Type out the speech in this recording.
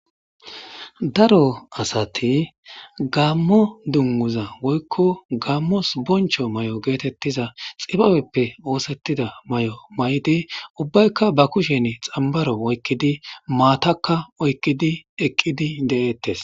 Daro asati gammo dunnuza woykko gammos boncho may'o geetettiza xibabeppe oosettida may'o may'di ubbaykka ba kushen xambaro oykkidi maatakka oykkidi eqqidi de'ettes.